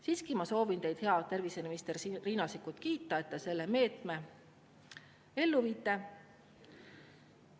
Siiski ma soovin teid, hea terviseminister Riina Sikkut, kiita, et te selle meetme ellu viite.